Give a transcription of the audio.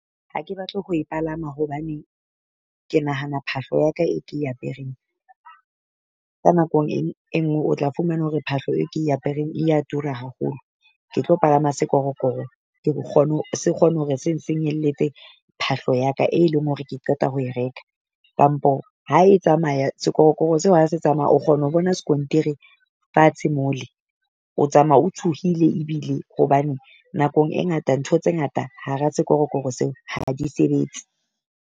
Ha ke batle ho e palama hobane ke nahana phahlo ya ka e ke apereng ka nakong e e nngwe o tla fumana hore phahlo e ke apereng e ya tura haholo. Ke tlo palama sekorokoro, kgone se kgone hore se nsenyehelletse phahlo ya ka e leng hore ke qeta ho e reka. Kampo ha e tsamaya sekorokoro seo ha se tsamaya, o kgona ho bona skontiri fatshe mole. O tsamaya o tshohile ebile hobane nakong e ngata ntho tse ngata hara sekorokoro seo ha di sebetse.